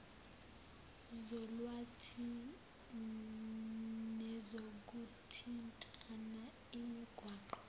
zolwazi nezokuthintana imigwaqo